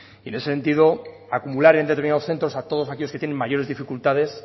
y en ese sentido acumular en determinados centros a todos aquellos que tienen mayores dificultades